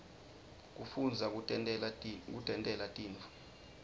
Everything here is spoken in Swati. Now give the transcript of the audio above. kufundza kutentela tintfo